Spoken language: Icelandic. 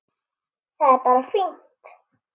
Það er bara fínt.